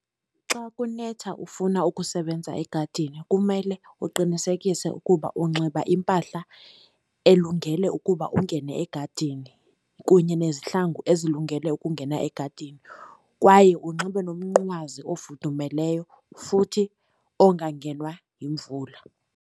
Xa kunetha ufuna ukusebenza egadini kumele uqinisekise ukuba unxiba impahla elungele ukuba ungene egadini kunye nezihlangu ezilungele ukungena egadini. Kwaye unxibe nomnqwazi ofudumeleyo, futhi ongangenwa yimvula.